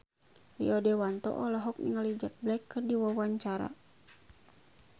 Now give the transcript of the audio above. Rio Dewanto olohok ningali Jack Black keur diwawancara